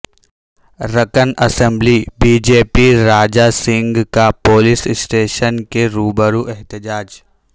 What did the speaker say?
رکن assembly BJP Raja Singh کا police station کے روبرو احتجاج